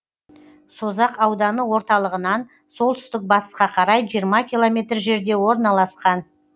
созақ ауданы орталығынан солтүстік батысқа қарай жиырма километр жерде орналасқан